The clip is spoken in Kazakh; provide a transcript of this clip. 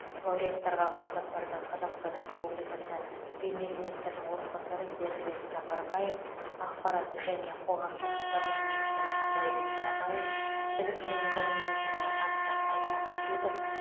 лауреаттарға марапаттарды қазақстан республикасы премьер министрінің орынбасары бердібек сапарбаев ақпарат және қоғамдық даму министрі дәурен абаев білім және ғылым министрі асхат аймағамбетов